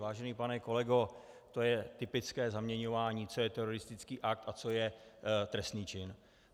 Vážený pane kolego, to je typické zaměňování, co je teroristický akt a co je trestný čin.